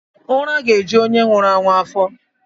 Ụra ga-eju onye nwụrụ anwụ afọ.